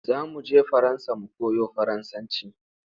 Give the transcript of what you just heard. Za mu je Faransa mu koyo Faransanci.